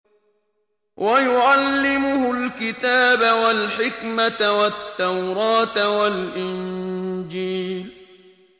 وَيُعَلِّمُهُ الْكِتَابَ وَالْحِكْمَةَ وَالتَّوْرَاةَ وَالْإِنجِيلَ